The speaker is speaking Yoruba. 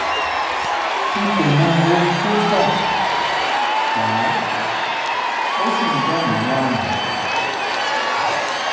n kò mọ ohun tó fà fà á ó sì ń dà mí láàmú